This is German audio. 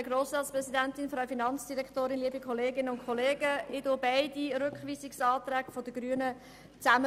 Ich begründe die beiden Rückweisungsanträge der Grünen zusammen.